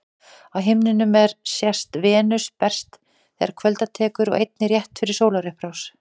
Á himninum er sést Venus best þegar kvölda tekur og einnig rétt fyrir sólarupprás.